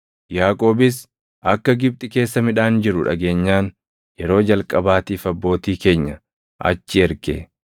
Yaaqoobis akka Gibxi keessa midhaan jiru dhageenyaan yeroo jalqabaatiif abbootii keenya achi erge.